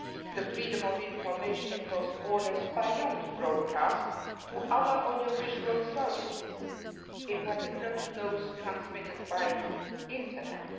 the freedom of information across borders, beyond broadcasting, to other audiovisual services and, particularly, those transmitted by Internet.